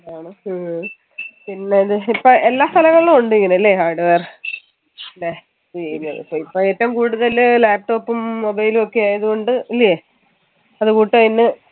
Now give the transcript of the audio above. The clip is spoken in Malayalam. ആണ് ഹും പിന്നെ അത് ഇപ്പൊ എല്ലാ സ്ഥലങ്ങളിലും ഉണ്ട് ഇങ്ങനെ hardware അല്ലെ ഇപ്പോ ഏറ്റവും കൂടുതൽ laptop ഉം mobile ഉം ഒക്കെ ആയത് കൊണ്ട് ല്ലേയ്